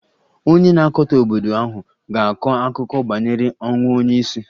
Onye na-akatọ obodo ahụ ga-akọ akụkọ banyere ọnwụ onye isi